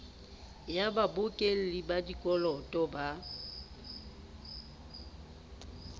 ya babokelli ba dikoloto ba